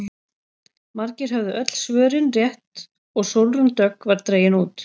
Margir höfðu öll svörin rétt og Sólrún Dögg var dregin út.